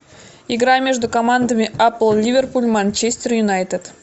игра между командами апл ливерпуль манчестер юнайтед